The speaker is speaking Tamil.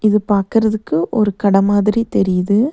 இது பாக்குறதுக்கு ஒரு கட மாதிரி தெரியிது.